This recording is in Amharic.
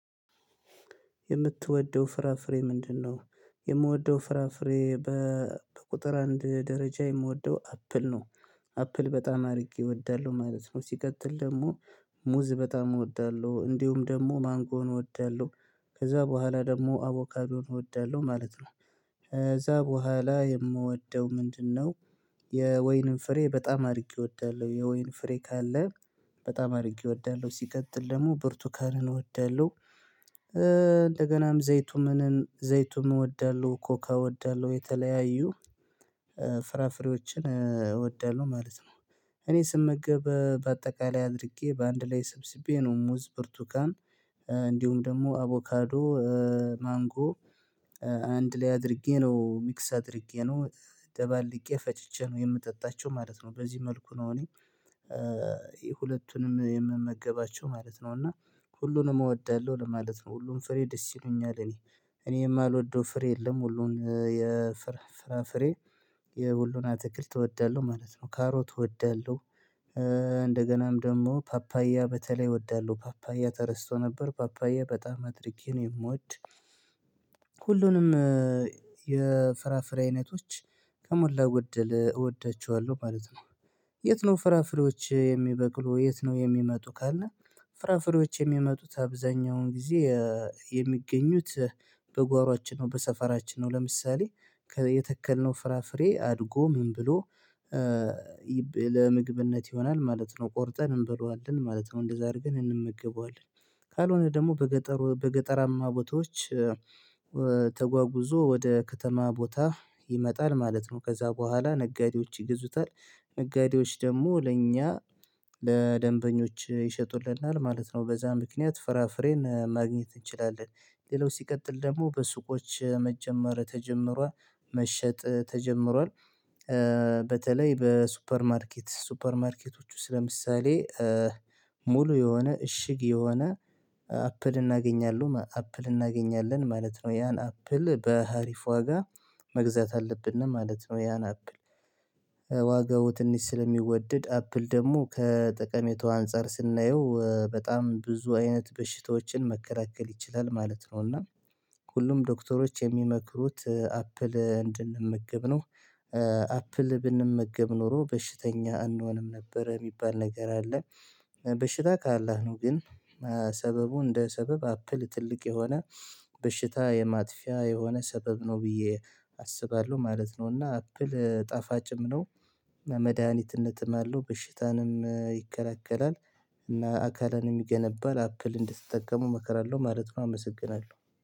የምትወደው ፍራፍሬ ምንድነው? የምወደው ፍራፍሬ በቁጥር አንድ ደረጃ የምወደው አፕል ነው። አፕል በጣም አድርጌ እወዳለሁ ማለት ነው። ሲቀጥል ደግሞ ሙዝ በጣም እወዳለሁ እንዲሁም ደግሞ ማንጎም እወዳለሁ ከዛ በኋላ ደግሞ አቮካዶን እወዳለሁ ማለት ነው። ከዛ በኋላ የምወደው ምንድነው? የወይንን ፍሬ በጣም አድርጌ እወዳለሁ የወይን ፍሬ ካለ በጣም አድርጌ እወዳለሁ ሲቀጥል ደግሞ ብርቱኳንን እወዳለሁ። እንደገናም ዘይቱንም እንደዚህ ዘይቱም እወዳለሁ ኮካ እወዳለሁ የተለያዩ ፍራፍሬዎችን እወዳለሁ ማለት ነው። እኔ ስመገብ በአጠቃላይ አድርጌ በአንድ ላይ ሰብስቤ ነው ሙዝ ብርቱካን እንዲሁም ደግሞ አቮካዶ ማንጎ አንድ ላይ አድርጌ ነው ሚክስ አድርጌ ነው ደባልቄ ፈጭቼ ነው የምጠጣቸው ማለት ነው። በዚህ መልኩ ነው እኔ ሁለቱንም የምመገባቸው ማለት ነው። እና ሁሉንም እወዳለሁ ለማለት ነው። ሁሉም ፍሬ ደስ ይሉኛል እኔ እኔ የማልወደው ፍሬ የለም። ሁሉን የፍራፍሬ የሁሉን አትክልት እወዳለሁ ማለት ነው ካሮት እወዳለሁ። እንደገናም ደግሞ ፓፓያ በተለይ እወዳለሁ ፓፓያ ተረስቶ ነበር ፓፓያ በጣም አድርጌ ነው የምወድ። ሁሉንም የፍራፍሬ አይነቶች ከሞላ ጎደል እወዳቸዋለሁ ማለት ነው። የት ነው ፍራፍሬዎች የሚበቅሉ የት ነው የሚመጡ ካልነ። ፍራፍሬዎች የሚመጡት አብዛኛውን ጊዜ የሚገኙት በጓሮአችን ነው በሰፈራችን ነው። ለምሳሌ የተከልነው ፍራፍሬ አድጎ ምን ብሎ ለምግብነት ይሆናል ማለት ነው። ቆርጠን እንበለዋለን ማለት ነው እንደዛ አድርገን እንመገበዋለን። ካልሆነ ደግሞ በገጠር በገጠራማ ቦታዎች ተጓጉዞ ወደ ከተማ ቦታ ይመጣል ማለት ነው። ከዛ በኋላ ነጋዴዎች ይገዙታል ነጋዴዎች ደግሞ ለእኛ ለደንበኞች ይሸጡልናል ማለት ነው። በዛ ምክንያት ፍራፍሬን ማግኘት እንችላለን። ሌላው ሲቀጥል ደግሞ በሱቆች መጀመር ተጀምሯል መሸጥ ተጀምሯል። በተለይ በሱፐር ማርኬት ሱፐር ማርኬቶቹስ ለምሳሌ ሙሉ የሆነ እሽግ የሆነ አፕል እናገኛለሁ አፕል እናገኛለን ማለት ነው። ያን አፕል በሀሪፍ ዋጋ መግዛት አለብን ማለት ነው። ያን አፕል ዋጋው ትንሽ ስለሚወደድ አፕል ደግሞ ከጠቀሜታው አንፃር ስናየው በጣም ብዙ አይነት በሽታዎችን መከላከል ይችላል ማለት ነው። እና ሁሉም ዶክተሮች የሚመክሩት አፕል እንድንመገብ ነው። አፕል ብንመገብ ኖሮ በሽተኛ አንሆንም ነበረ የሚባል ነገር አለ። በሽታ ካላህ ነው ግን ሰበቡ እንደ ሰበብ አፕል ትልቅ የሆነ በሽታ የማጥፊያ የሆነ ሰበብ ነው ብዬ አስባለሁ ማለት ነው። እና አፕል ጣፋጭም ነው። መድሃኒትነትም አለው በሽታንም ይከላከላል እና አካልንም ይገነባል አፕል እንድትጠቀሙ እመክራለሁ ማለት ነው። አመሰግናለሁ